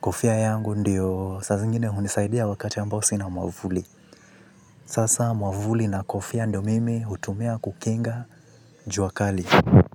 Kofia yangu ndiyo saa zingine hunisaidia wakati ambao sina mwamvuli. Sasa mwamvuli na kofia ndio mimi hutumia kukinga jua kali.